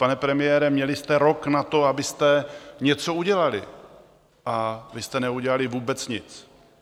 Pane premiére, měli jste rok na to, abyste něco udělali, a vy jste neudělali vůbec nic.